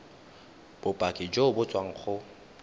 bopaki jo bo tswang go